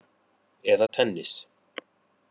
Eða tennis!